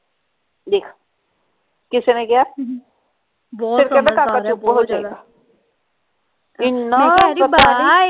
ਦੇਖ ਕਿਸੇ ਨੇ ਕਿਹਾ ਇੰਨਾ